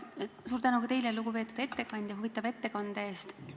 Suur tänu ka teile, lugupeetud ettekandja, huvitava ettekande eest!